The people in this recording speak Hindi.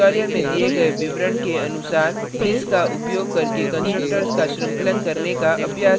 tutorial में दिए गए विवरण के अनुसार this का उपयोग करके constructors का श्रृंखलन करने का अभ्यास करें